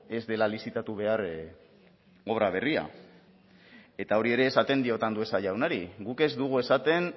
ez dela lizitatu behar obra berria eta hori ere esaten diot andueza jaunari guk ez dugu esaten